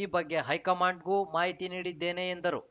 ಈ ಬಗ್ಗೆ ಹೈಕಮಾಂಡ್‌ಗೂ ಮಾಹಿತಿ ನೀಡಿದ್ದೇನೆ ಎಂದರು